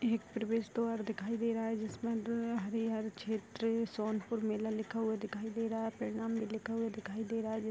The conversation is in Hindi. एक प्रवेश द्वार दिखाई दे रहा है जिसमें हरीहर क्षेत्र सोनपुर मेला लिखा हुआ दिखाई दे रहा है प्रणाम भी लिखा हुआ दिखाई दे रहा है।